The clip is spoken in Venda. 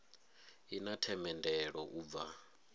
i na themendelo u bva